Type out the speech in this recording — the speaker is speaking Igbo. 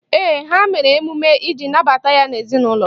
Ee, ha mere emume iji nabata ya n'ezinaụlọ.